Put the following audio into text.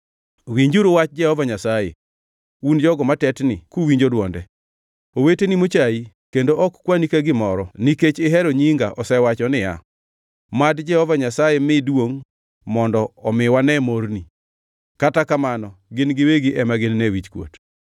Winjuru wach Jehova Nyasaye, un jogo matetni kuwinjo dwonde: “Oweteni mochai kendo ok kwani ka gimoro nikech ihero nyinga osewacho niya, ‘Mad Jehova Nyasaye mi duongʼ, mondo omi wane morni!’ Kata kamano gin giwegi ema ginine wichkuot.